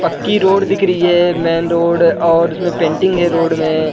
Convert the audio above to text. पक्की रोड दिख रही है मेन रोड और उसमे पेंटिंग है रोड में --